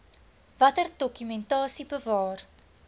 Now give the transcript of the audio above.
watter dokumentasie bewaar